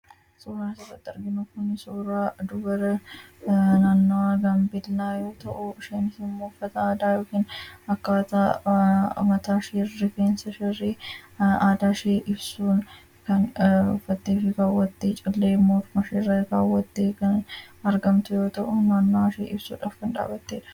Suuraan asirratti arginu Kun suuraa dubara naannawaa gaambeellaa yoo ta'u, isheenis immoo uffata aadaa yookiin akkaataa mataa ishee fi rifeensa ishee illee aadaa ishee ibsuun kan uffattee fi kaawwattee callee morma ishee irraa kaawwatte kan argamtu yoo ta'u maalummaa ishee ibsuuf kan dhaabbatedha